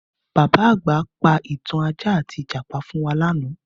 Bàbá àgbà pa ìtàn ajá àti Ìjàpá fún wa lánàá